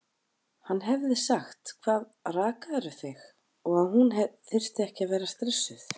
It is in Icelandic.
Hann hefði sagt: Hvað, rakarðu þig? og að hún þyrfti ekki að vera stressuð.